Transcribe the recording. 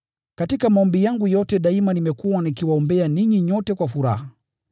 Katika maombi yangu yote daima nimekuwa nikiwaombea ninyi nyote kwa furaha,